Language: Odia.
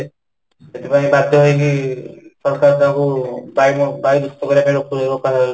ସେଥିପାଇଁ ବାଧ୍ୟ ହେଇକି ପ୍ରସ୍ତାବ ଟା କୁ ବାୟୁ ବାୟୁ ଦୂଷିତ କରିବାକୁ